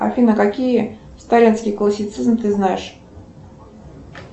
афина какие сталинский классицизм ты знаешь